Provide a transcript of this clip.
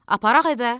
Aparaq evə?